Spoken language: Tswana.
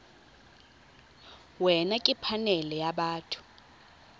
wena ke phanele ya batho